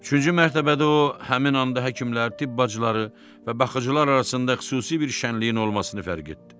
Üçüncü mərtəbədə o həmin anda həkimlər, tibb bacıları və baxıcılar arasında xüsusi bir şənliyin olmasını fərq etdi.